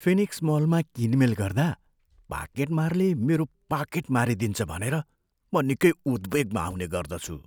Phoenix मलमा किनमेल गर्दा पाकेट मारले मेरो पाकेट मारिदिन्छ भनेर म निकै उद्वेगमा आउने गर्दछु।